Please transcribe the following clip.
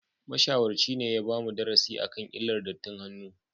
Mashawarci ne ya bamu darasi akan illar dattin hannu